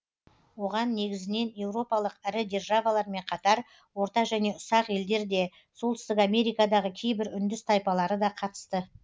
оған негізінен европалық ірі державалармен қатар орта және ұсақ елдер де солтүстік америкадағы кейбір үндіс тайпалары да қатысты